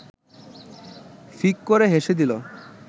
ফিক করে হেসে দিল